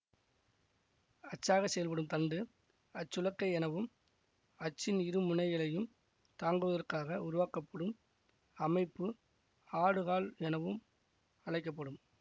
அச்சாகச் செயற்படும் தண்டு அச்சுலக்கை எனவும் அச்சின் இரு முனைகளையும் தாங்குவதற்காகக் உருவாக்கப்படும் அமைப்பு ஆடுகால் எனவும் அழைக்க படும்